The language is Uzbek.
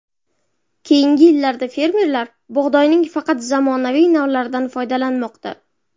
Keyingi yillarda fermerlar bug‘doyning faqat zamonaviy navlaridan foydalanmoqda.